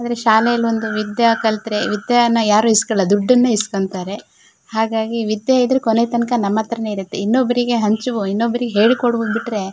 ಆದ್ರೆ ಶಾಲೆಯಲ್ಲಿ ಒಂದು ವಿದ್ಯೆ ಕಲ್ತರೆ ವಿದ್ಯೆನ ಯಾರು ಇಸ್ಕೊಳಲ್ಲಾ ದೊಡ್ದನ್ನ ಇಸ್ಕೊತ್ತರೆ ಹಾಗಾಗಿ ವಿದ್ಯೆ ಇದ್ರೆ ಕೊನೆತನಕ ನಮ್ಮತ್ರನೆ ಇರುತ್ತೆ ಇನ್ನೊಬ್ರಿಗೆ ಹಂಚುವ ಇನ್ನೊಬ್ರಿಗೆ ಹೇಳಿ ಕೊಡುವ ಬಿಟ್ರೆ--